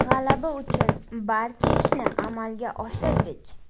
G‘alaba uchun barcha ishni amalga oshirdik.